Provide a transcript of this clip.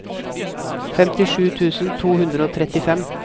femtisju tusen to hundre og trettifem